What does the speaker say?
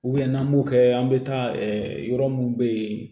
n'an b'o kɛ an bɛ taa yɔrɔ minnu bɛ yen